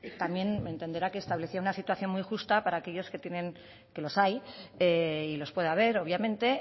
también entenderá que establecía una situación muy injusta para aquellos que tienen que los hay y los puede haber obviamente